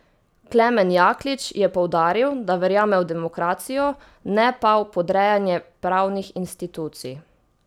Klemen Jaklič je poudaril, da verjame v demokracijo, ne pa v podrejanje pravnih institucij.